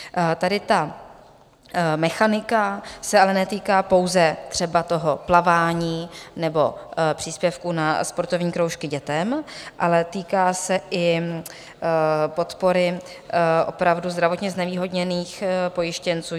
Tady ta mechanika se ale netýká pouze třeba toho plavání nebo příspěvku na sportovní kroužky dětem, ale týká se i podpory opravdu zdravotně znevýhodněných pojištěnců.